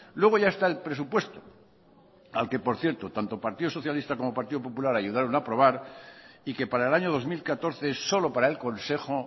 luego ya está el presupuesto al que por cierto tanto partido socialista como partido popular ayudaron a aprobar y que para el año dos mil catorce solo para el consejo